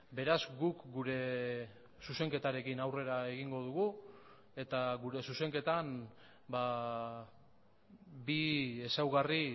beraz guk gure zuzenketarekin aurrera egingo dugu eta gure zuzenketan bi ezaugarri